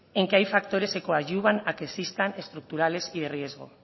en que hay factores que coadyuvan a que existan estructurales y de riesgo